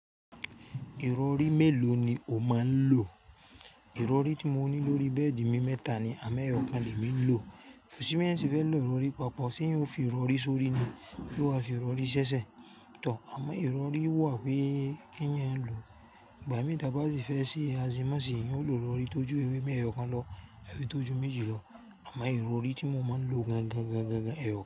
Ìrọrí mélòó ni o máa ń lò? Ìrọrí tí mo ní lórí bẹ́ẹ̀dì mi mẹ́ta ni àmo ẹ́yọ̀kan lè mí lò. Kosi bi eyan se fẹ́ lọ ìrọrí papọ̀, ṣé yóò fi ìrọrí sórí ni, bí ó bá fi ìrọrí ṣẹ́ṣẹ́. Tọ̀, àmọ ìrọrí wà pe ki ẹ̀yan lò. Ìgbà mí t'aba ti fẹ́ ṣì, a sì má sì yín ó lọ ìrọrí tó ju ewé mẹ́yọ̀kan lọ, ewé tó ju méjì lọ. Àmọ ìrọrí tí mo máa ń lò gangan, gangan, gangan, ẹ̀ o.